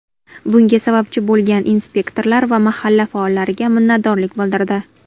Bunga sababchi bo‘lgan inspektorlar va mahalla faollariga minnatdorlik bildirdi.